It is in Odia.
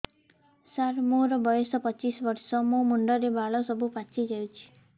ସାର ମୋର ବୟସ ପଚିଶି ବର୍ଷ ମୋ ମୁଣ୍ଡରେ ବାଳ ସବୁ ପାଚି ଯାଉଛି